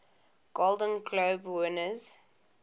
golden globe winners